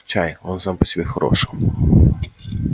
чай он сам по себе хорош